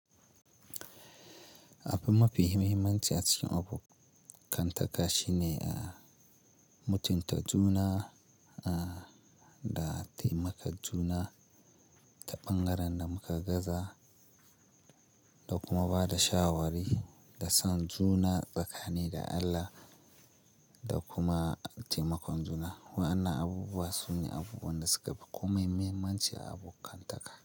Abin mafi muhimmanci a cikin abokantaka shine mutunta juna da taimaka juna ta ɓangaren da muka gaza da kuma ba da shawari da san juna tsakanin da Allah da kuma taimakon juna. Wa'ana abubuwa su ne abubuwan da suka fi komai muhimmanci a abokantaka.